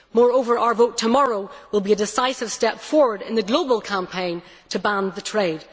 Moreover, our vote tomorrow will be a decisive step forward in the global campaign to ban the trade.